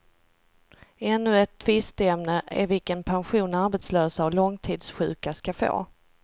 Ännu ett tvisteämne är vilken pension arbetslösa och långtidssjuka ska få.